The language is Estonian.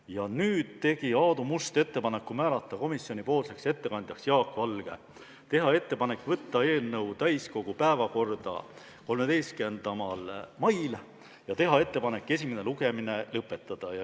Ja lõpuks tegi Aadu Must ettepaneku määrata komisjonipoolseks ettekandjaks Jaak Valge, teha ettepanek võtta eelnõu täiskogu päevakorda 13. maiks ja siis esimene lugemine lõpetada.